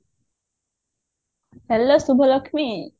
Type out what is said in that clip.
hello Subhalaxmi